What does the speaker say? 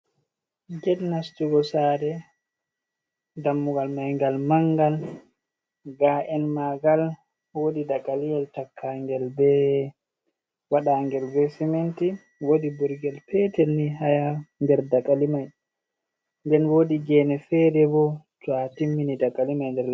Get nastugo saare. Dammugal mai ngal mangal. Ga'en maangal woodi dagaliyel takkaangel be, waɗa ngel be siminti. Woodi burgel petel ni haa nder dagali mai. Nden woodi gene fere bo to a timmini dammugal nder le.